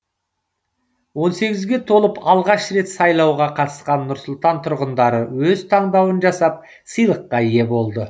он сегізге толып алғаш рет сайлауға қатысқан нұр сұлтан тұрғындары өз таңдауын жасап сыйлыққа ие болды